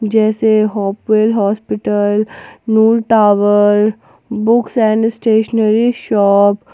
जैसे Hopewell hospital Noor tower books and stationery shop.